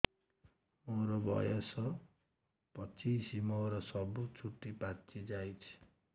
ମୋର ବୟସ ପଚିଶି ମୋର ସବୁ ଚୁଟି ପାଚି ଯାଇଛି